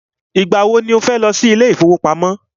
Ìgbà wọ ni o fẹ́ lọ sí ilé ìfọwọ́pamo?